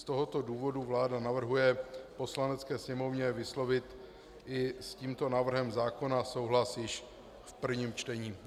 Z tohoto důvodu vláda navrhuje Poslanecké sněmovně vyslovit i s tímto návrhem zákona souhlas již v prvním čtení.